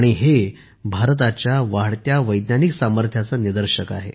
हे भारताच्या वाढत्या वैज्ञानिक सामर्थ्याचे निदर्शक आहे